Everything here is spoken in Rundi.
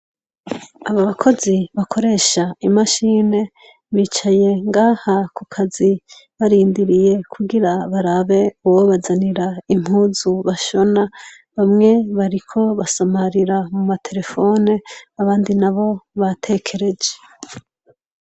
Abakozi bakoresha imashine, bicaye ngaha kukazi barindiriye kugira barabe uwobazanira impuzu bashona, bamwe bariko basamarira muma telefone abandi nabo batekereje.